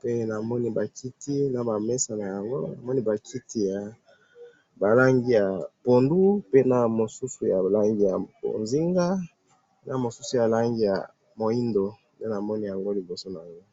pe namoni bakiti nabamesa naango, namoni bakiti yabalangi ya pondu, pe namosusu yalangi ya bonzinga, na mosusu yalangi ya mwidu, nde namoni yango liboso nanga.